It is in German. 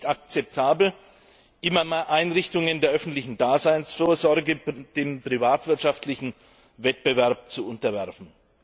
nicht akzeptabel, immer mehr Einrichtungen der öffentlichen Daseinsvorsorge dem privatwirtschaftlichen Wettbewerb zu unterwerfen.